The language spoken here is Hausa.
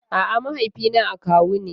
A'a, mahaifina akawu ne.